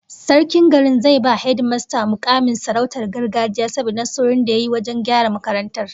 Sarkin garin zai ba hedimasta mukamin sarautar gargajiya saboda nasarorin da ya yi wajen gyara makarantar